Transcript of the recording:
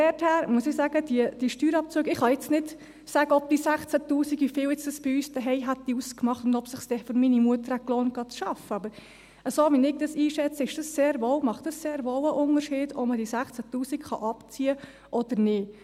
Deshalb muss ich in Bezug auf diese Steuerabzüge sagen – ich kann nicht sagen, wie viel diese 16 000 Franken bei uns zu Hause ausgemacht hätten und ob es sich dann für meine Mutter gelohnt hätte, arbeiten zu gehen –, so, wie ich es einschätze, macht es sehr wohl einen Unterschied, ob man diese 16 000 Franken abziehen kann oder nicht.